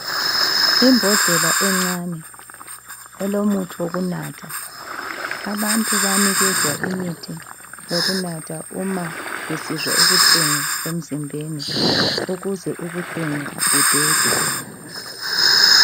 Imbodlela encane ilomuthi wokunatha, abantu bayanikezwa imithi yokunatha uma besizwa ubuhlungu emzimbeni, ukuze ubuhlungu budede.